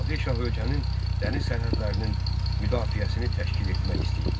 Nadir Şah ölkənin dəniz sərhədlərinin müdafiəsini təşkil etmək istəyirdi.